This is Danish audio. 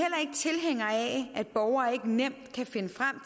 at borgere ikke nemt kan finde frem